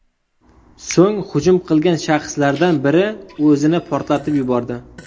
So‘ng hujum qilgan shaxslardan biri o‘zini portlatib yubordi.